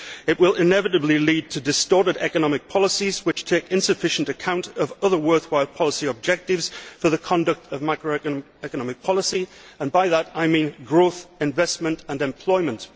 It will inevitably lead to distorted economic policies which take insufficient account of other worthwhile policy objectives for the conduct of macro economic policy, and by that I mean growth, investment and employment.